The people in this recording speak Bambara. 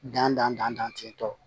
Dan dan dan dan kɛ tɔ